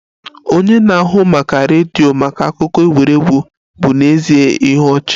Onye na-ahụ maka redio maka akụkọ egwuregwu bụ n'ezie ihe ọchị